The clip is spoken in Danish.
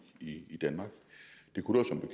i danmark